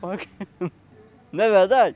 Não é verdade?